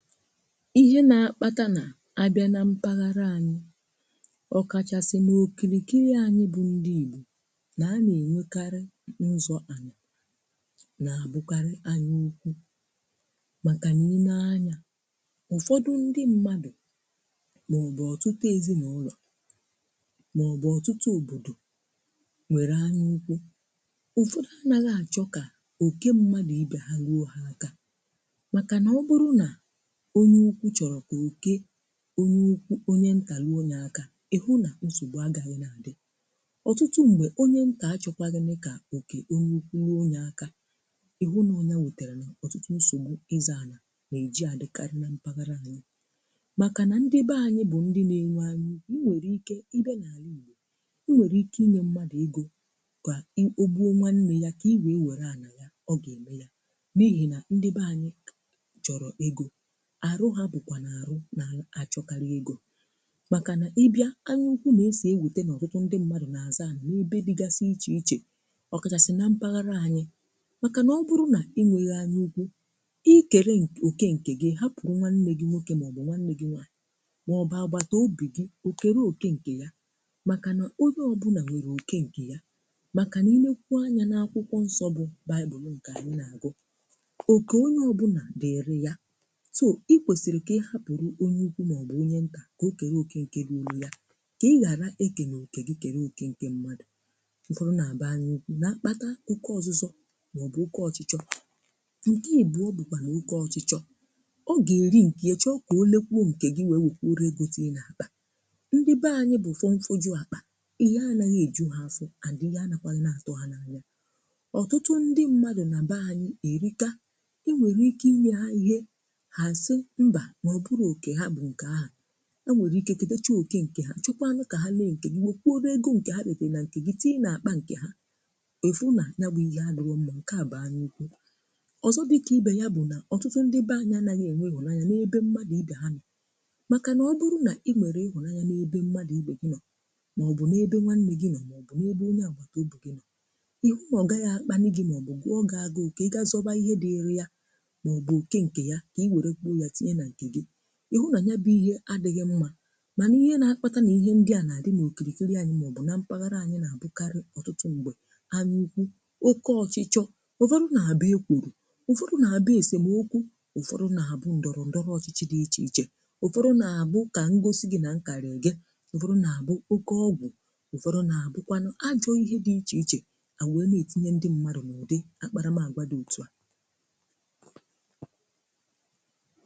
Ihe na-akpata na-abịa na mpaghara anyị ọ kachasị n’okirikiri anyị bụ ndị igbo na a na-enwekarị nzụ ani na-abụkarị anyị ukwù maka nà i nee anya, ụfọdụ ndị mmadụ̀ maọ̀bụ̀ ọtụtụ ezinụlọ̀ maọ̀bụ̀ ọtụtụ obodo nwere anyị ụkwụ, ụfọdụ anaghị achọ ka oke mmadụ̀ ibe ha luo ha aka maka na ọ bụrụ na onye ụkwụ chọrọ̀ ka oke onye ụkwụ onye nta lụò ya akà ịhụ nà nsogbù agaghị̀ na-adị̀ ọtụtụ ṁgbè onye ntà achọkwà gịnị kà oke onye ụkwụ rụọ ya akà ịhụ nọ nyà wetarà ọtụtụ nsogbù ịzọ̀ anì na-eji adịkarị na mpaghara anyị̀ makà nà ndị be anyị̀ bụ̀ ndị na-enwe anya ukwu. E nwere ike ị bịa na-alà Igbo e nwere ike inye mmadụ̀ egȯ ka ị o gbuo nwanne yà ka i wee were anà yà ọ ga-eme yà n’ihi na ndị be anyị̀ chọrọ̀ ego, arụ ha bụkwa nu arụ na-achọkarị egȯ maka n’ịbịa anyị ukwu na-eso ewute n’ọtụtụ ndị mmadụ na-azọ ana na-ebe dịgasị iche iche, ọ kachasị na mpaghara anyị maka n’ọbụrụ na inweghị anyị ukwu ikeere n oke nke gị hapụrụ nwanne gị nwoke maọbụ nwanne gị nwaanyị maọbụ agbataobì gị o kere oke nke yȧ maka na onye ọbụna nwere oke nke yȧ maka n’ine kwụọ anya n’akwụkwọ nsọ bụ baịbụnụ nke anyị na-agụ òké onye ọbụna dịrị ya so ikwesiri kà ị hapụrụ̀ onye ukwu màọbụ̀ onye ntà kà ọ kèro oke ǹke ruolu yà kà ị ghàra eke n’okè gi kèro oke ǹke mmadụ.̀ Ụfọdụ nà-àbụ anyị ukwu na-akpata oke ọ̀zụzọ̀ màọbụ̀ ọke ọchịchọ̇ ǹke ìbụọ bụ̀kwà nú oke ọchịchọ,̇ ọ gà-èri ǹke e chọ kà o lekwuo ǹkè gi wee wèkwuru ego tií n’akpà. Ndị be anyị̇ bụ̀ fụọ nfọgụ àkpà ihe anaghị èju hȧ afọ and ihe anakwaghị n'àtụ́hà n’anya ọtụtụ ndị mmadụ̀ nà be anyị̇ èrika i nwèrè ike inye hà ihe ha si mba na ọ bụrọ oké ha bú nke áhu, E nwere ike ketecha oké nke ha chọkwa nú ka ha ré nké gị wekwurú ego nke ha reterụ na nke gị tị́na-akpa ha, ịfụ na ya bu ihé adirọ mma nke á bú anya ukwu. Ozo di ka ibe ya bụ na ọtụtụ ndị be anyị anaghị e nwe ịhụnanya na-ebe mmadụ ibe ha nọ, maka nà ọ bụrụ na e nwere ịhụnanya n'ebe mmadụ ibe gị nọ ma ọ bụ̀n’ebe nwanne gị nọ ma ọ bụ na-ebe onye agbàtòbi gị nọ̀ihu na ọ gaghị akpalị gị ma ọ bụ gụọ gị agụ ka ị ga zọwa ihe dịrị ya ma ọ̀ bụ òke ǹkè ya kà ị wère kwụọ ya tinye na nke gị, ihụ na yá bú ìhè adịghị mmȧ mànà ihe nà-akpata nà ihe ndị à nà-àdị nà okìrìkiri ànyị màọbụ̀ na mpaghara ànyị nà-àbụkarị̀ ọtụtụ m̀gbè anyị ukwu, oke ọchịchọ,̇ ụfọdụ nà-àbụ ekwùrù ụfọdụ nà-àbụ èsèmò ókwú, ụfọdụ nà-àbụ ǹdọrọ ǹdọrọ ọchịchị̇ dị ichè ichè, ụfọdụ nà-àbụ kà m gosi gi nà m karị̀ gị, ụfọdụ nà-àbụ oke ọgwụ,̀ ụfọdụ nà-àbụkwanụ ajọ̇ ihe dị ichè ichè à wèe na-ètinye ndị mmadụ̀ n’ụ̀dị akpara m àgwa dị òtù a.